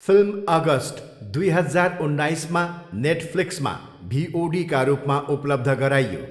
Film August दुई हजार उन्नाइसमा नेटफ्लिक्समा भिओडीका रूपमा उपलब्ध गराइयो।